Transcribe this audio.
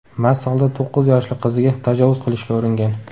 mast holda to‘qqiz yoshli qiziga tajovuz qilishga uringan.